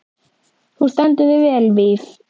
Þú stendur þig vel, Víf!